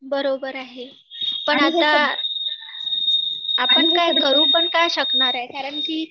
बरोबर आहे पण आता आपण काय करू पण काय शकणार आहे? कारण की